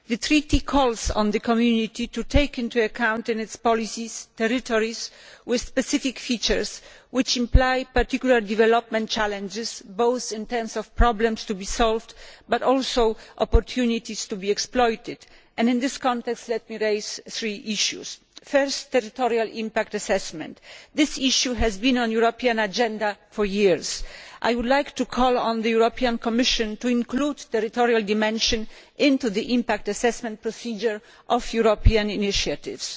The treaty calls on the Community to take into account in its policies territories with specific features which entail particular development challenges, both in terms of problems to be solved, and of opportunities to be exploited. In this context, let me raise three issues. First, territorial impact assessment. This issue has been on the European agenda for years. I would like to call on the Commission to include the territorial dimension in the impact assessment procedure for European initiatives.